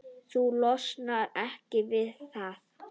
Þú losnar ekki við það.